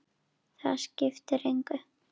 Það skiptir engu